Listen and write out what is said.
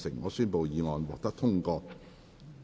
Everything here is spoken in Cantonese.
我宣布議案獲得通過。